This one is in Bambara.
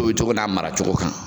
cogo n'a maracogo kan.